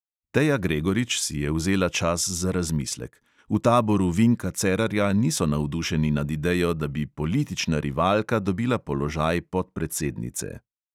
Teja gregorič si je vzela čas za razmislek – v taboru vinka cerarja niso navdušeni nad idejo, da bi politična rivalka dobila položaj podpredsednice.